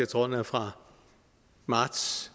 tror den er fra marts